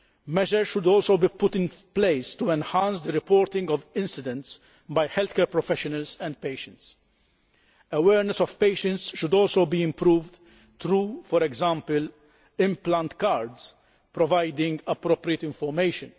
Measures should also be put in place to enhance the reporting of incidents by healthcare professionals and patients. Patients' awareness should also be improved through, for example, implant cards providing appropriate information.